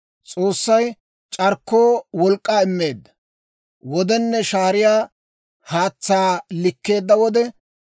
S'oossay c'arkkoo wolk'k'aa immeedda wodenne shaariyaa haatsaa likkeedda wode,